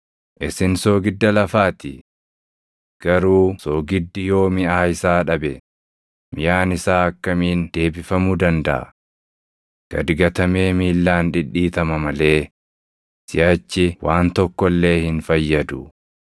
“Isin soogidda lafaa ti. Garuu soogiddi yoo miʼaa isaa dhabe, miʼaan isaa akkamiin deebifamuu dandaʼa? Gad gatamee miillaan dhidhiitama malee siʼachi waan tokko illee hin fayyadu.